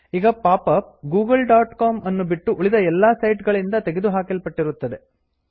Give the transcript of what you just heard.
ಈಗ pop up googleಸಿಒಎಂ ಅನ್ನು ಬಿಟ್ಟು ಉಳಿದ ಎಲ್ಲಾ ಸೈಟ್ ಗಳಿಂದ ತೆಗೆದುಹಾಕಿರಲ್ಪಟ್ಟಿರುತ್ತದೆ